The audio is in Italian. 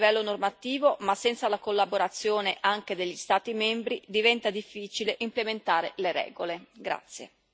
L'Europa può fare molto a livello normativo, ma senza la collaborazione anche degli Stati membri, diventa difficile implementare le regole.